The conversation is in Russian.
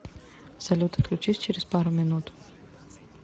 салют отключись через пару минут